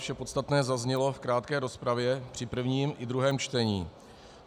Vše podstatné zaznělo v krátké rozpravě při prvním i druhém čtení.